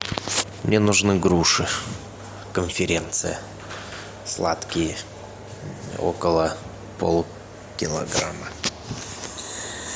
мне нужны груши конференция сладкие около полкилограмма